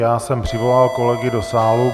Já jsem přivolal kolegy do sálu.